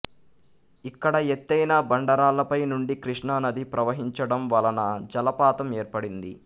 ఇక్కడ ఎత్తైన బండరాళ్ళపై నుండి కృష్ణానది ప్రవహించడం వలన జలపాతం ఏర్పడింది